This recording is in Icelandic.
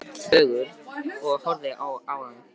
Hann sat þögull og horfði á ána.